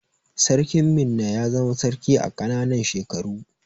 Sarkin Minna ya zama sarki a ƙananan shekaru.